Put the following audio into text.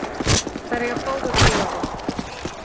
Þær eiga báðar góða vini.